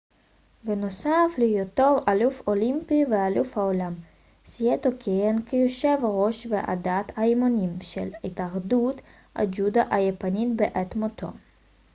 בנוסף להיותו אלוף אולימפי ואלוף העולם סאיטו כיהן כיושב ראש ועדת האימונים של התאחדות הג'ודו היפנית בעת מותו